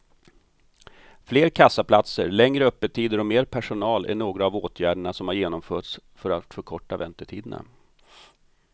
Fler kassaplatser, längre öppettider och mer personal är några av åtgärderna som har genomförts för att förkorta väntetiderna.